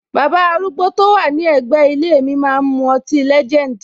Baba arúgbó to wà ní ègbé ilé mi máa ń mu ọtí legend.